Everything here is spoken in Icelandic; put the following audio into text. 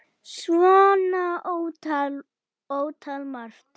Svo ótal, ótal margt.